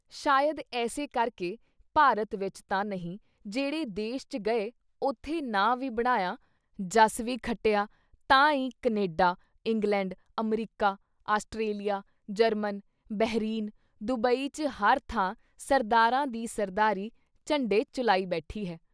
ਸ਼ਾਇਦ ਏਸੇ ਕਰਕੇ ਭਾਰਤ ਵਿੱਚ ਤਾਂ ਨਹੀਂ ਜਿਹੜੇ ਦੇਸ਼ ‘ਚ ਗਏ, ਉਥੇ ਨਾਂ ਵੀ ਬਣਾਇਆ, ਜਸ ਵੀ ਖੱਟਿਆ ਤਾਂ ਈ Canada, England, America, Australia, German, Bahrain, Dubai ‘ਚ ਹਰ ਥਾਂ ਸਰਦਾਰਾਂ ਦੀ ਸਰਦਾਰੀ ਝੰਡੇ ਝੁਲਾਈ ਬੈਠੀ ਹੈ।